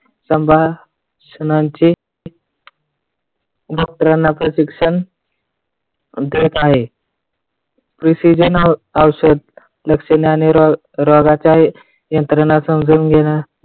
संभाषणाची doctor ना प्रशिक्षण देत आहे. precizen औषध लक्षणाने रोगाच्या यंत्रणा समजून घेण्या